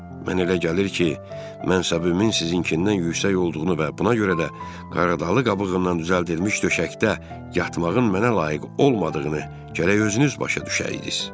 Mənə elə gəlir ki, mən səbrimin sizinkindən yüksək olduğunu və buna görə də qarğıdalı qabığından düzəldilmiş döşəkdə yatmağın mənə layiq olmadığını gərək özünüz başa düşəydiniz.